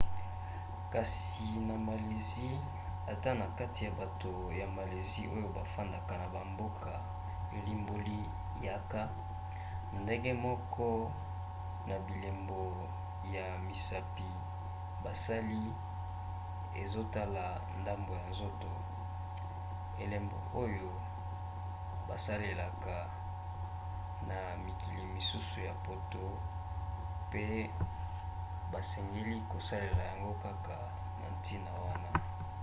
kasi na malaisie ata na kati ya bato ya malaisie oyo bafandaka na bamboka elimboli yaka, ndenge moko na bilembo ya misapi basali ezotala ndambo ya nzoto elembo oyo basaleka na mikili mosusu ya poto pe basengeli kosalela yango kaka na ntina wana